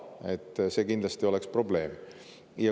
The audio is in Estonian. See oleks kindlasti probleem.